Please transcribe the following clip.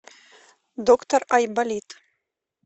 доктор айболит